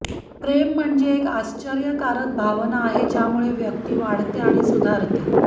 प्रेम म्हणजे एक आश्चर्यकारक भावना आहे ज्यामुळे व्यक्ती वाढते आणि सुधारते